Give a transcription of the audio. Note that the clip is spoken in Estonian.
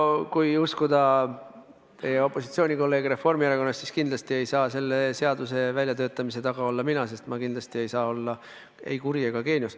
No kui uskuda teie opositsioonikolleege Reformierakonnast, siis kindlasti ei saa selle seaduse väljatöötamise taga olla mina, sest ma kindlasti ei saa olla ei kuri ega geenius.